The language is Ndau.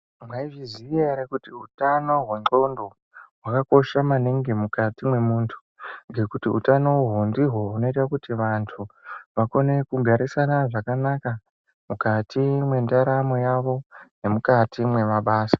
Mwaizviziya ere kuti utano hwendxondo hwakakosha maningi mukati mwemuntu, ngekuti utano uhwu ndihwo hunoita kuti vantu vakone kugarisana zvakanaka mukati mwendaramo yavo nemukati mwemabasa ?